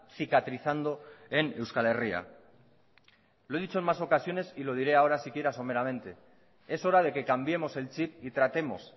cicatrizando en euskal herria lo dicho en más ocasiones y lo diré ahora siquiera someramente es hora de que cambiemos el chip y tratemos